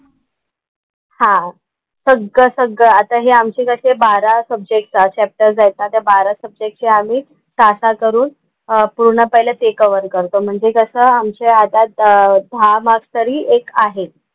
हां. सगळं सगळं आता हे आमचे कसे बारा सब्जेक्ट्स, चाप्टर्स आहेत ना त्या बारा सब्जेक्टचे आम्ही सहा सहा करून पूर्ण पहिलं ते कव्हर करतो म्हणजे कसं आमच्या हातात दहा मार्क्स तरी एक आहेत.